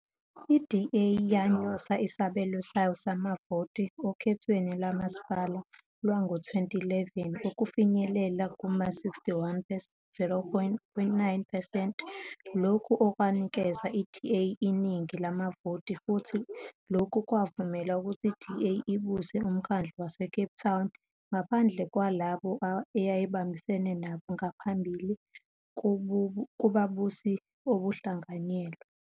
I-DA yanyusa isabelo sayo samavoti okhethweni lomasipala lwango - 2011 ukufinyelela kuma-61.09 percent, lokhu okwanikeza iDA iningi lamavoti futhi lokhu kwavumela ukuthi iDA ibuse uMkhandlu waseCape Town ngaphandle kwalabo eyayibambisene nabo ngaphambili kububusi obuhlanganyelwe